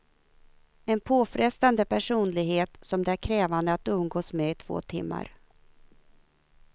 En påfrestande personlighet som det är krävande att umgås med i två timmar.